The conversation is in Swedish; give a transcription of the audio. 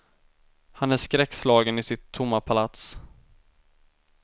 Han är skräckslagen i sitt tomma palats.